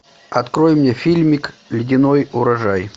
открой мне фильмик ледяной урожай